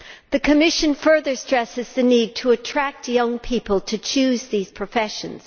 The Commission further stresses the need to attract young people to choose these professions.